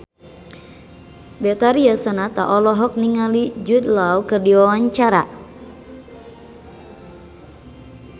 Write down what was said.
Betharia Sonata olohok ningali Jude Law keur diwawancara